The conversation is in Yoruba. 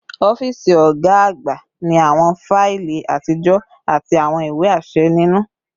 Ọfiisi ọga agba ni awọn faili atijọ ati awọn iwe aṣẹ ninu